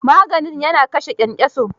Maganin ya na kashe kyankyaso?